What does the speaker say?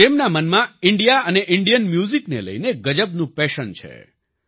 તેમના મનમાં ઈન્ડિયા અને ઈન્ડિયન મ્યૂઝિકને લઈને ગજબનું પેશન છે